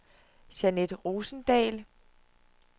Jeanette Rosendahl